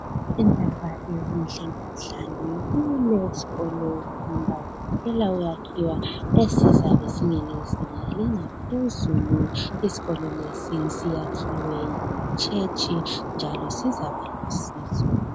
Indaba ezinhle bahlali kuleskolo esisanda kuphela ukuyakhiwa esizabe singesezinga elingaphezulu, isikolo lesi siyakhiwe yichurch njalo sizaba lusizo.